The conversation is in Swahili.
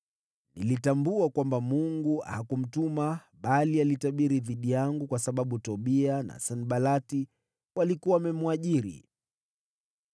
Nilitambua kwamba Mungu hakumtuma, bali alitabiri dhidi yangu kwa sababu Tobia na Sanbalati walikuwa wamemwajiri.